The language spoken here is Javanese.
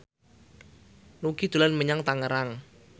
Nugie dolan menyang Tangerang